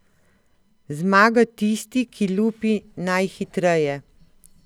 Zmaga tisti, ki lupi najhitreje.